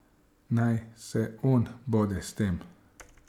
Naj se on bode s tem.